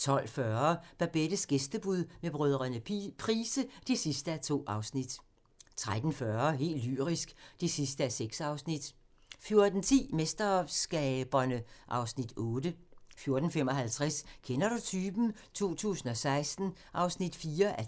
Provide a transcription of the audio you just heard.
12:40: Babettes gæstebud med brødrene Price (2:2) 13:40: Helt lyrisk (6:6) 14:10: MesterSkaberne (Afs. 8) 14:55: Kender du typen? 2016 (4:10)